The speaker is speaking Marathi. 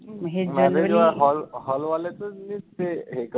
marriage hall hall वाल्याचचं ते हे करून.